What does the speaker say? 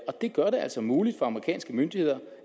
det gør det altså muligt for amerikanske myndigheder